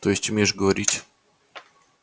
то есть умеешь говорить